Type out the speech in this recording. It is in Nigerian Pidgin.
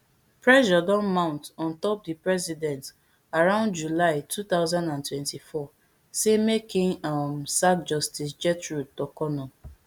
pressure don mount on top di president around july two thousand and twenty-four say make im um sack justice gertrude torkornoo